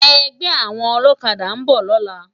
Ègbè áwòn òlòkàdá n bò lòlá